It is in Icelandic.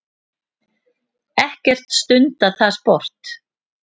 Ekkert stundað það sport.